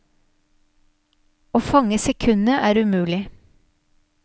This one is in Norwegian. Å fange sekundet er umulig.